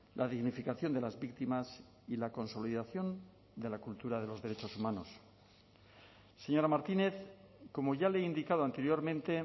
la dignificación de las víctimas y la consolidación de la cultura de los derechos humanos señora martínez como ya le he indicado anteriormente